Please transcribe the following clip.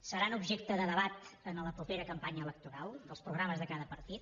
seran objecte de debat en la propera campanya electoral als programes de cada partit